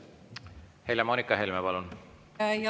Helle-Moonika Helme, palun!